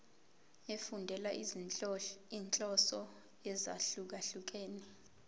efundela izinhloso ezahlukehlukene